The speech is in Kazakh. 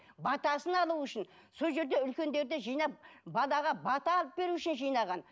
батасын алу үшін сол жерде үлкендерді жинап балаға бата алып беру үшін жинаған